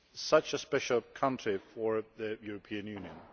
such a special country for the European Union.